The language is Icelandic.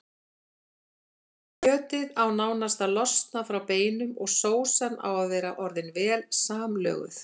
Kjötið á nánast að losna frá beinum og sósan að vera orðin vel samlöguð.